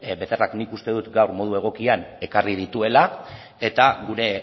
becerrak nik uste dut gaur modu egokian ekarri dituela eta gure